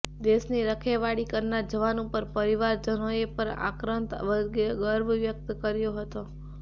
દેશની રખેવાળી કરનાર જવાન ઉપર પરિવારજનોએ પણ આક્રંદ વચ્ચે ગર્વ વ્યકત કર્યો હતો